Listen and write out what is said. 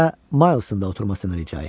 Və Maın da oturmasını rica etdi.